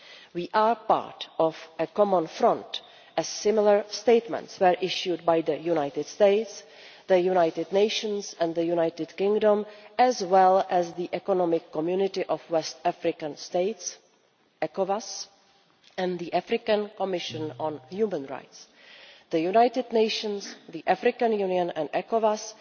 We are part of a common front, as similar statements were issued by the United States, the United Nations and the United Kingdom, as well as the Economic Community of West African States and the African Commission on Human and Peoples' Rights. The United Nations, the African Union and ECOWAS